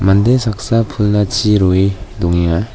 mande saksa pulna chi rue dongenga.